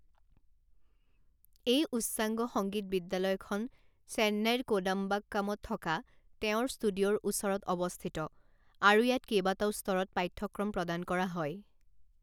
এই উচ্চাংগ সংগীত বিদ্যালয়খন চেন্নাইৰ কোডাম্বাক্কামত থকা তেওঁৰ ষ্টুডিঅ'ৰ ওচৰত অৱস্থিত আৰু ইয়াত কেইবাটাও স্তৰত পাঠ্যক্ৰম প্ৰদান কৰা হয়।